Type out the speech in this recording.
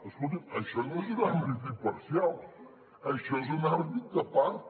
escolti’m això no és un àrbitre imparcial això és un àrbitre de part